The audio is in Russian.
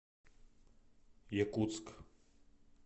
якутск